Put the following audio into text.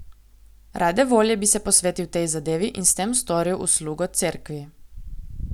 Rade volje bi se posvetil tej zadevi in s tem storil uslugo Cerkvi.